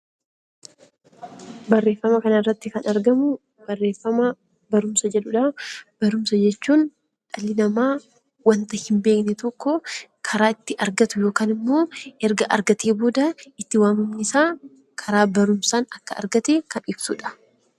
Barumsa jechuun dhalli namaa wanta hin beekne tokko karaa ittiin argatu yookaan immoo erga argatee booda itti waamamni isaa karaa barumsaan akka argate kan ibsudha.